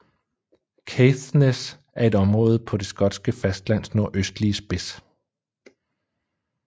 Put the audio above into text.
Caithness er et område på det skotske fastlands nordøstlige spids